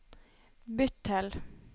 bytt til